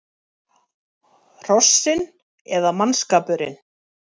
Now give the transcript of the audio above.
Hrossin eða mannskapurinn?